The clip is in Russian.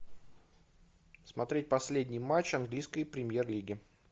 смотреть последний матч английской премьер лиги